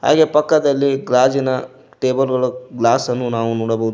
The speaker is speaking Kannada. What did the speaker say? ಹಾಗೆ ಪಕ್ಕದಲ್ಲಿ ಗಾಜಿನ ಟೇಬಲ್ ಗಳು ಗ್ಲಾಸ್ ನ್ನು ನಾವು ನೋಡಬಹುದು.